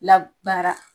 Labaara